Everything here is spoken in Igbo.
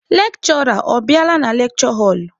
Lekshụra ọ bịala na lekshure họlụ?